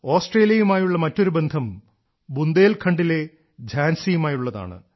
ഓസ്ട്രേലിയയുമായുള്ള മറ്റൊരു ബന്ധം ബുന്ദേൽഖണ്ഡിലെ ഝാൻസി യുമായുള്ളതാണ്